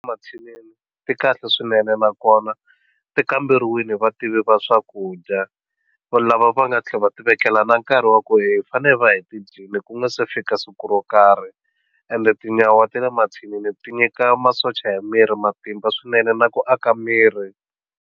Mathinini ti kahle swinene nakona ti kamberiwini va tiva swakudya va lava va nga tlhela va ti vekela na nkarhi wa ku hi fanele va hi ti dyile ku nga se fika siku ro karhi ende tinyawa ti le mathinini ti nyika masocha ya miri matimba swinene na ku aka miri.